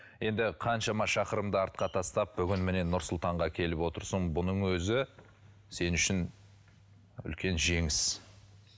енді қаншама шақырымды артқа тастап бүгін міне нұр сұлтанға келіп отырсың бұның өзі сен үшін үлкен жеңіс